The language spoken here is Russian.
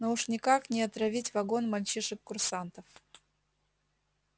но уж никак не отравить вагон мальчишек курсантов